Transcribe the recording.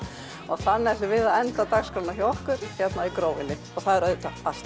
og þannig ætlum við að enda dagskrána hjá okkur hér í Grófinni og auðvitað er allt